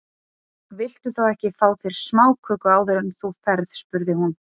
Viltu þá ekki fá þér smáköku áður en þú ferð spurði hún.